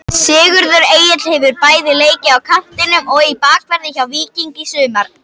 Sigurður Egill hefur bæði leikið á kantinum og í bakverði hjá Víkingi í sumar.